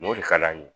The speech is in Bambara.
N'o de ka d'an ye